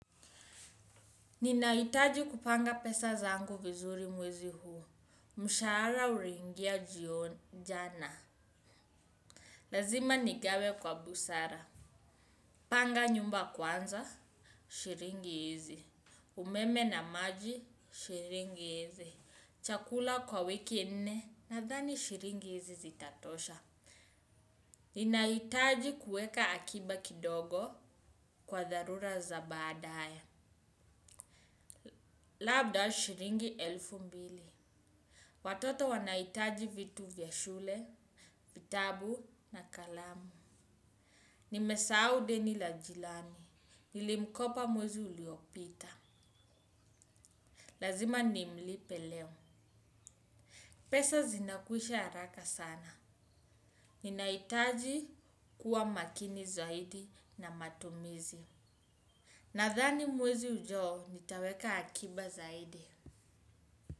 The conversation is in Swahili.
Ninahitaji kupanga pesa zangu vizuri mwezi huu. Mshahara uliingia jana. Lazima nigawe kwa busara. Panga nyumba kwanza, shilingi hizi. Umeme na maji, shiringi hizi. Chakula kwa wiki nne, nadhani shilingi hizi zitatosha. Ninahitaji kueka akiba kidogo kwa dharura za baadae. Labda shilingi elfu mbili. Watoto wanahitaji vitu vya shule, vitabu na kalamu. Nimesahau deni la jirani. Nilimkopa mwezi uliopita. Lazima nimlipe leo. Pesa zinakwisha haraka sana. Ninahitaji kuwa makini zaidi na matumizi. Nadhani mwezi ujao nitaweka akiba zaidi.